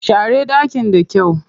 Share ɗakin da kyau.